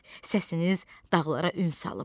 Səsiniz dağlara ün salıb.